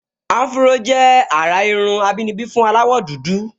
Áfúró jẹ́ àrà irun àbínibí fún aláwọ̀dúdú